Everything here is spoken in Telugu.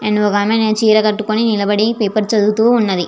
ఒక ఆమె చీర కటుకొని నిలబడి పేపర్ చదువుతూ ఉన్నదీ.